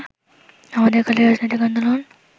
আমাদের কালের রাজনৈতিক আন্দোলন